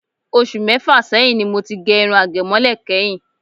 Ọṣù mẹ́fà sẹyìn ni mo ti gẹ irun àgẹ̀mọ́lẹ̀ kẹ́yìn.